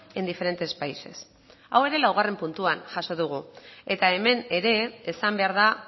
en diferentes países hau ere laugarren puntuan jaso dugu eta hemen ere esan behar da